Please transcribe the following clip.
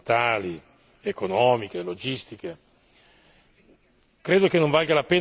rapidamente per ragioni finanziarie, ambientali, economiche e logistiche.